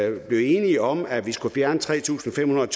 jo blev enige om at vi skulle fjerne tre tusind fem hundrede